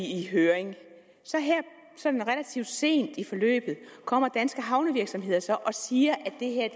i høring her sådan relativt sent i forløbet kommer danske havnevirksomheder så og siger at det er